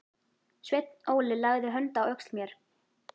Sveinn Óli lagði hönd á öxl mér.